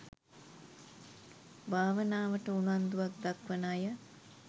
භාවනාවට උනන්දුවක් දක්වන අය